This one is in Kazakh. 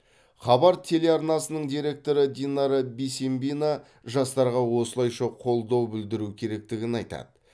хабар телеарнасының директоры динара бисембина жастарға осылайша қолдау білдіру керектігін айтады